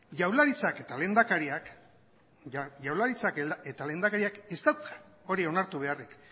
jaurlaritzak eta lehendakariak ez dauka hori onartu beharrik